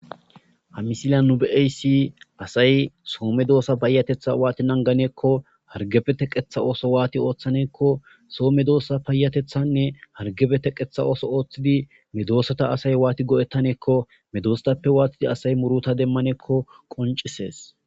Ha misilya nu be'eysi asay soome doossa paayatetha waati nanganeekko hargefe teqetha ooso waati ooththaneekko soome doossa paayatethanne hargebe teqetha ooso ooththidi medoosata asay waati go'ettaneekko medoostappe waatidi asay muruta demmaneekko qoncisees